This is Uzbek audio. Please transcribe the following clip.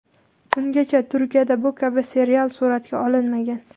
Ungacha Turkiyada bu kabi serial suratga olinmagan.